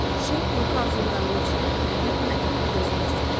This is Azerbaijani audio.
Şeyx blokhausun damına çıxıb ehtiyatla ətrafa göz gəzdirdi.